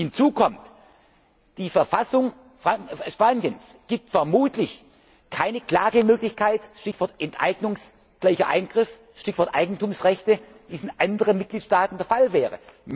Plans. Hinzu kommt Die Verfassung Spaniens gibt vermutlich keine Klagemöglichkeit Stichwort enteignungsgleicher Eingriff, Stichwort Eigentumsrechte wie es in anderen Mitgliedstaaten der Fall